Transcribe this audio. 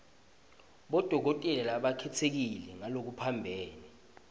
bodokotela labakhetsekile ngalokuphambene